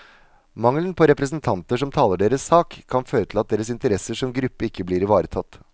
Mangelen på representanter som taler deres sak, kan føre til at deres interesser som gruppe ikke blir ivaretatt.